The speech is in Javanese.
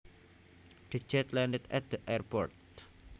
The jet landed at the airport